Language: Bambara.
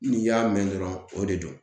N'i y'a mɛn dɔrɔn o de don.